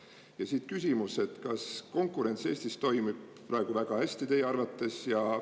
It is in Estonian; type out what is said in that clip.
Ja siit küsimus, et kas konkurents Eestis toimib praegu väga hästi teie arvates.